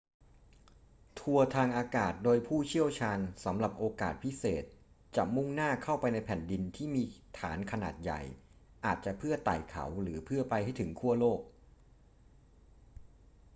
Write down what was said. ทัวร์ทางอากาศโดยผู้เชี่ยวชาญสำหรับโอกาสพิเศษจะมุ่งหน้าเข้าไปในแผ่นดินที่มีฐานขนาดใหญ่ อาจจะเพื่อไต่เขาหรือเพื่อไปให้ถึงขั้วโลก